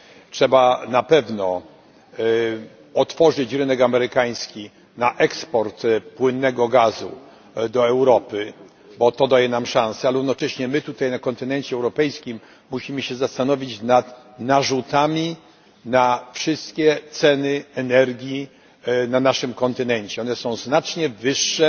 Trzeba na pewno otworzyć rynek amerykański na eksport płynnego gazu do Europy, bo to daje nam szansę, ale równocześnie my na kontynencie europejskim musimy się zastanowić nad narzutami na wszystkie ceny energii na naszym kontynencie. Narzuty te są znacznie wyższe